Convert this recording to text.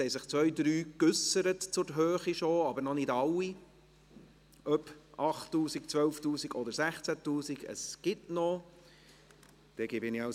– Es haben sich bereits zwei, drei zur Höhe geäussert, aber noch nicht alle, also ob 8000 Franken, 12 000 Franken oder 16 000 Franken.